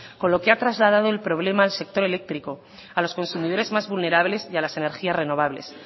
con lo que ha trasladado el problema al sector eléctrico a los consumidores más vulnerables y a las energías renovables